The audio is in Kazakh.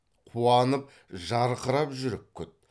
қуанып жарқырап жүріп күт